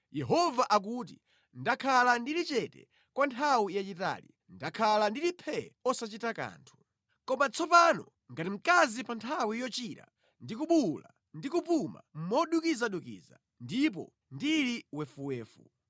Yehova akuti, “Ndakhala ndili chete kwa nthawi yayitali, ndakhala ndili phee osachita kanthu. Koma tsopano, ngati mayi pa nthawi yochira, ndi kubuwula ndi kupuma modukizadukiza ndipo ndili wefuwefu.